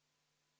Aitäh!